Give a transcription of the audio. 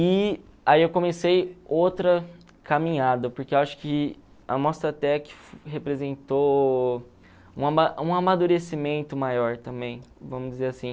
E aí eu comecei outra caminhada, porque acho que a Mostratec representou um ama um amadurecimento maior também, vamos dizer assim.